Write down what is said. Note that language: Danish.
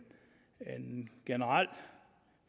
generel